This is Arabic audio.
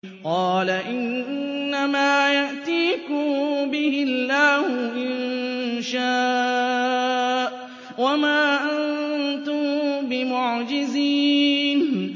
قَالَ إِنَّمَا يَأْتِيكُم بِهِ اللَّهُ إِن شَاءَ وَمَا أَنتُم بِمُعْجِزِينَ